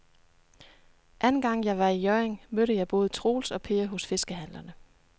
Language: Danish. Anden gang jeg var i Hjørring, mødte jeg både Troels og Per hos fiskehandlerne.